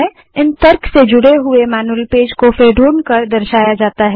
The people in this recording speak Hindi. इन तर्कों से जुड़े हुए मैन्यूअल पेज को फिर ढूँढकर दर्शाया जाता है